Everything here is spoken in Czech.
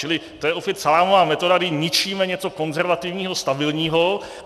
Čili to je opět salámová metoda, kdy ničíme něco konzervativního, stabilního.